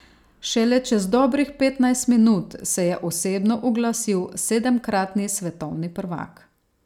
Šele čez dobrih petnajst minut se je osebno oglasil sedemkratni svetovni prvak.